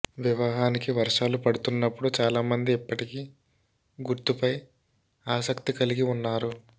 వివాహానికి వర్షాలు పడుతున్నప్పుడు చాలామంది ఇప్పటికీ గుర్తుపై ఆసక్తి కలిగి ఉన్నారు